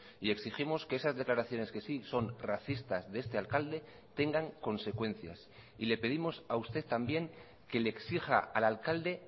y exigimos que esas declaraciones que sí son racistas de este alcalde tengan consecuencias y le pedimos a usted también que le exija al alcalde